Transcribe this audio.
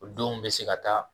O denw bɛ se ka taa.